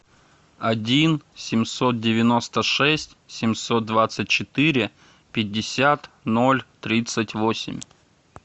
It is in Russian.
один семьсот девяносто шесть семьсот двадцать четыре пятьдесят ноль тридцать восемь